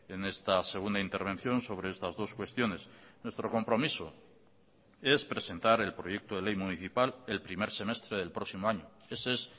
en esta segunda intervención sobre estas dos cuestiones nuestro compromiso es presentar el proyecto de ley municipal el primer semestre del próximo año ese es